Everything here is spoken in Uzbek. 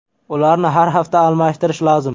Ularni har hafta almashtirish lozim.